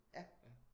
Ja